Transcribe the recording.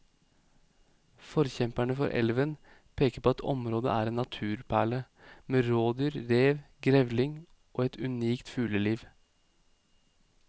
Forkjemperne for elven peker på at området er en naturperle med rådyr, rev, grevling og et unikt fugleliv.